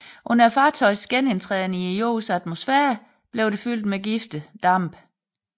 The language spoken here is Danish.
Under fartøjets genindtræden i jordens atmosfære blev det fyldt med giftige dampe